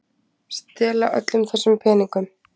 Stela öllum þessum peningum!